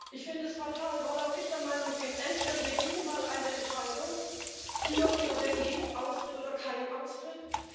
Ich finde es fatal, weil auch ich der Meinung bin Entweder, wir kriegen mal eine Entscheidung dafür oder dagegen, Austritt oder kein Austritt.